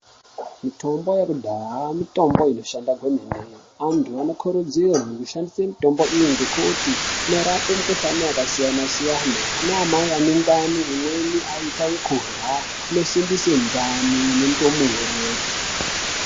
Mitombo yekudhaya mitombo inoshanda kwemene vantu vono kurudzirwa kushandisa mitombo iyi nekuti inorape mukuhlani yakasiyana siyana ana mai anendani imweni anoita yekurua imweni inosimbisa ndumure.